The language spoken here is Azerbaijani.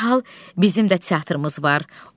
dərhal bizim də teatrumuz var.